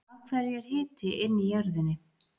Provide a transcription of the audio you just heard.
af hverju er hiti inn í jörðinni